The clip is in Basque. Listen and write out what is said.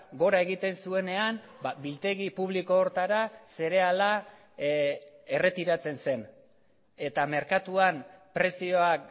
gora egiten zuenean biltegi publiko horretara zereala erretiratzen zen eta merkatuan prezioak